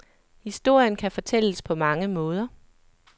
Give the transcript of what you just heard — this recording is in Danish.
Historien kan fortælles på mange måder.